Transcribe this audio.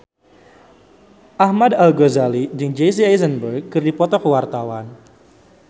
Ahmad Al-Ghazali jeung Jesse Eisenberg keur dipoto ku wartawan